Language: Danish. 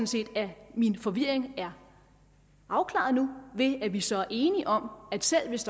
set at min forvirringen nu er afklaret ved at vi så er enige om at selv hvis